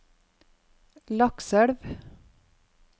Lakselv